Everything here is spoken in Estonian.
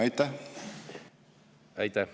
Aitäh!